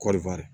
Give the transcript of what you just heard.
Kɔɔri